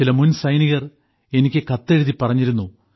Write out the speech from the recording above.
ചില മുൻ സൈനികർ എനിക്ക് കത്തെഴുതി പറഞ്ഞിരുന്നു